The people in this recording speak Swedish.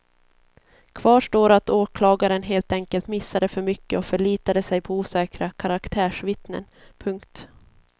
Kvar står att åklagaren helt enkelt missade för mycket och förlitade sig på osäkra karaktärsvittnen. punkt